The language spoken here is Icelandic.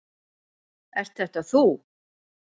Ert þetta þú?